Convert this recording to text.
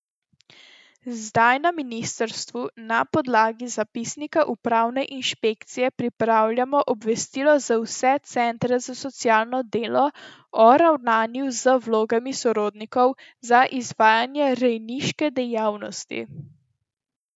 Zdaj na ministrstvu na podlagi zapisnika upravne inšpekcije pripravljajo obvestilo za vse centre za socialno delo o ravnanju z vlogami sorodnikov za izvajanje rejniške dejavnosti.